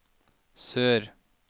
sør